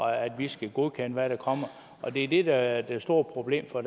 at vi skal godkende hvad der kommer det er det der er det store problem for